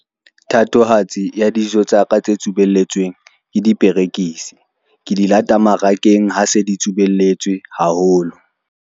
Thatohatsi ya dijo tsa ka tse tsubeletsweng ke diperekisi ke di lata mmarakeng, ha se ditsubeletswe haholo.